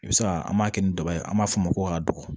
I bɛ se ka an b'a kɛ ni daba ye an b'a fɔ ma ko ka don